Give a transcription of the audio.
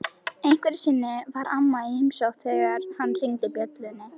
Einhverju sinni var amma í heimsókn þegar hann hringdi bjöllunni.